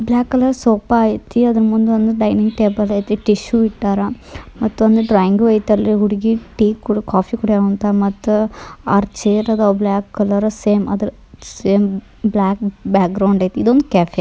block colour sofa ಐತಿ ಅದರ್ ಮುಂದೊಂದ್ ಡೈನಿಂಗ್ ಟೇಬಲ್ ಐತಿ ಟಿಸ್ಷು ಇಟ್ಟಾರಾ ಮತ್ತೊಂದು ಡ್ರಾಯಿಂಗ್ ಅಲ್ಲೈತ್ರಿ ಹುಡುಗಿ ಟೀ ಕುಡ್ ಕಾಫಿ ಕುಡಿಯೋ ಅಂತ ಮತ್ತ್ ಆರ್ ಚೇರ್ ಅದಾವ black colour same same black background ಐತಿ ಇದೊಂದ್ ಕೆಫೆ __